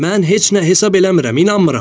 Mən heç nə hesab eləmirəm, inanmıram.